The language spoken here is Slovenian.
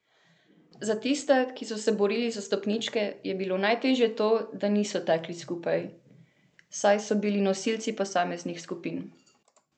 Za tiste, ki so se borili za stopničke, je bilo najtežje to, da niso tekli skupaj, saj so bili nosilci posameznih skupin.